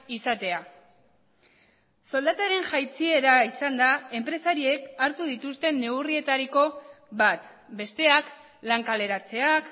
izatea soldataren jaitsiera izan da enpresariek hartu dituzten neurrietariko bat besteak lan kaleratzeak